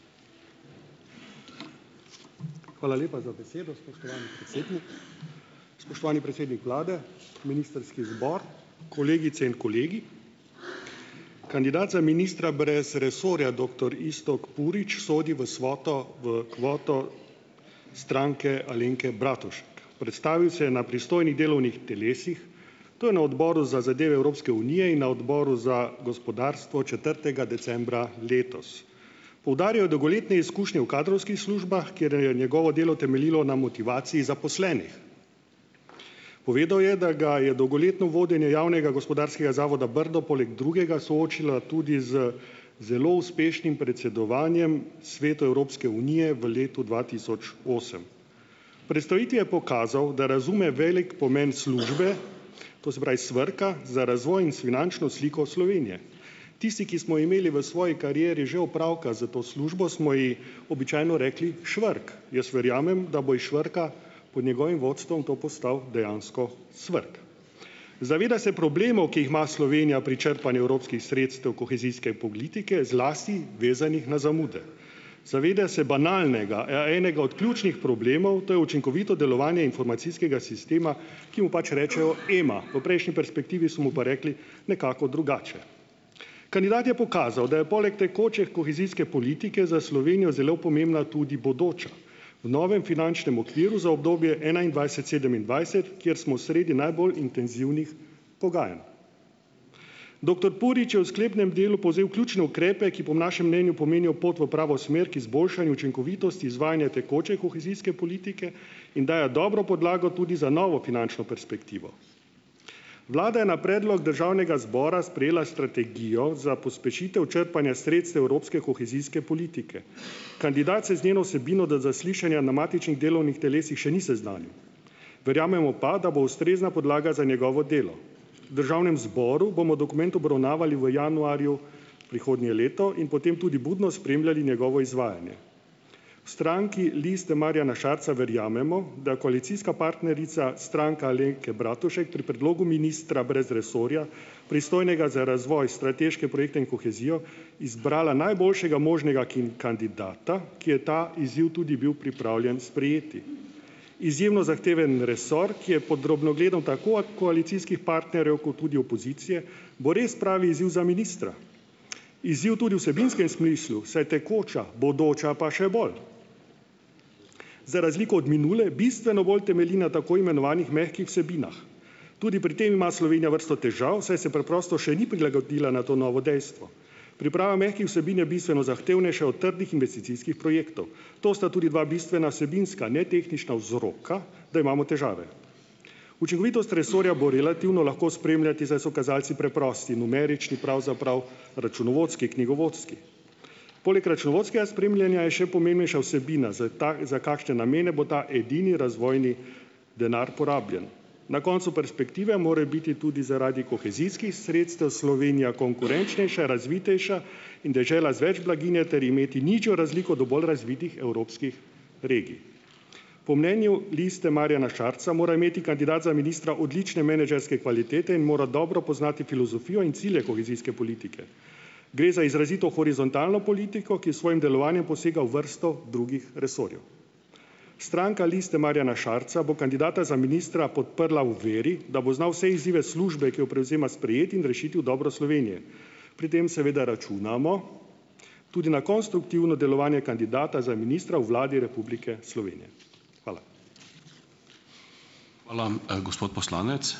Hvala lepa za besedo, spoštovani predsednik. Spoštovani predsednik vlade, ministrski zbor, kolegice in kolegi! Kandidat za ministra brez resorja, doktor Iztok Purič, sodi v svoto, v kvoto Stranke Alenke Bratušek. Predstavil se je na pristojnih delovnih telesih, to je na Odboru za zadeve Evropske unije in na Odboru za gospodarstvo četrtega decembra letos. Poudaril je dolgoletne izkušnje v kadrovskih službah, kjer, je njegovo delo temeljilo na motivaciji zaposlenih. Povedal je, da ga je dolgoletno vodenje javnega gospodarskega zavoda Brdo poleg drugega soočilo tudi z zelo uspešnim predsedovanjem Svetu Evropske unije v letu dva tisoč osem. V predstavitvi je pokazal, da razume velik pomen službe, to se pravi SVRK-a, za razvoj in s finančno sliko Slovenije. Tisti, ki smo imeli v svoji karieri že opravka s to službo, smo ji običajno rekli "švrk". Jaz verjamem, da bo iz Švrka po njegovim vodstvom to postal dejansko SVRK. Zaveda se problemov, ki jih ima Slovenija pri črpanju evropskih sredstev kohezijske politike, zlasti vezanih na zamude. Zaveda se banalnega, ja, enega od ključnih problemov, to je učinkovito delovanje informacijskega sistema, ki mu pač rečejo EMA, v prejšnji perspektivi so mu pa rekli nekako drugače. Kandidat je pokazal, da je poleg tekoče kohezijske politike za Slovenijo zelo pomembna tudi bodoča. V novem finančnem okviru za obdobje enaindvajset- sedemindvajset, kjer smo sredi najbolj intenzivnih pogajanj. Doktor Purič je v sklepnem delu povzel ključne ukrepe, ki po našem mnenju pomenijo pot v pravo smer k izboljšanju učinkovitosti izvajanja tekoče kohezijske politike in dajo dobro podlago tudi za novo finančno perspektivo. Vlada je na predlog državnega zbora sprejela strategijo za pospešitev črpanja sredstev evropske kohezijske politike. Kandidat se z njeno vsebino do zaslišanja na matičnih delovnih telesih še ni seznanil. Verjamemo pa, da bo ustrezna podlaga za njegovo delo. V državnem zboru bomo dokument obravnavali v januarju prihodnje leto in potem tudi budno spremljali njegovo izvajanje. V stranki Liste Marjana Šarca verjamemo, da koalicijska partnerica Stranka Alenke Bratušek pri predlogu ministra brez resorja, pristojnega za razvoj, strateške projekte in kohezijo, izbrala najboljšega možnega kandidata, ki je ta izziv tudi bil pripravljen sprejeti. Izjemno zahteven resor, ki je pod drobnogledom tako a koalicijskih partnerjev kot tudi opozicije, bo res pravi izziv za ministra, izziv tudi v vsebinskem smislu, saj tekoča, bodoča pa še bolj. Za razliko od minule, bistveno bolj temelji na tako imenovanih mehkih vsebinah. Tudi pri tem ima Slovenija vrsto težav, saj se preprosto še ni prilagodila na to novo dejstvo. Priprava mehkih vsebin je bistveno zahtevnejša od trdih investicijskih projektov. To sta tudi dva bistvena vsebinska netehniška vzroka, da imamo težave. Učinkovitost resorja bo relativno lahko spremljati, saj so kazalci preprosti, numerični, pravzaprav računovodski, knjigovodski. Poleg računovodskega spremljanja je še pomembnejša vsebina za ta, za kakšne namene bo ta edini razvojni denar porabljen. Na koncu perspektive morajo biti tudi zaradi kohezijskih sredstev Slovenija konkurenčnejša, razvitejša in dežela z več blaginje ter imeti nižjo razliko do bolj razvitih evropskih regij. Po mnenju Liste Marjana Šarca mora imeti kandidat za ministra odlične menedžerske kvalitete in mora dobro poznati filozofijo in cilje kohezijske politike. Gre za izrazito horizontalno politiko, ki s svojim delovanjem posega v vrsto drugih resorjev. Stranka Liste Marjana Šarca bo kandidata za ministra podprla v veri, da bo znal vse izzive službe, ki jo prevzema, sprejeti in rešiti v dobro Slovenije. Pri tem, seveda, računamo tudi na konstruktivno delovanje kandidata za ministra v Vladi Republike Slovenije. Hvala.